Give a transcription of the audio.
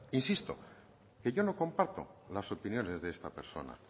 insisto que yo no comparto las opiniones de esta persona